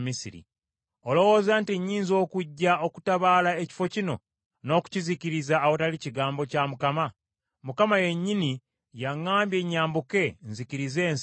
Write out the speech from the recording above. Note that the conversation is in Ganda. Olowooza nti nnyinza okujja okutabaala ekifo kino n’okukizikiriza awatali kigambo kya Mukama ? Mukama yennyini yaŋŋambye nyambuke nzikirize ensi eno.’ ”